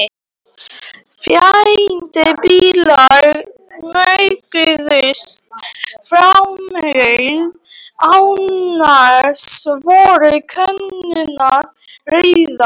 Fáeinir bílar mjökuðust framhjá, annars voru göturnar auðar.